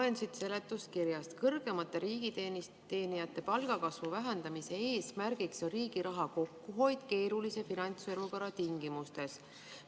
Loen siit seletuskirjast, et kõrgemate riigiteenijate palgakasvu vähendamise eesmärgiks on riigi raha kokkuhoid keerulise finantsolukorra tingimustes.